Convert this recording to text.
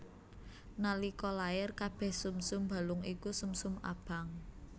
Nalika lair kabèh sumsum balung iku sumsum abang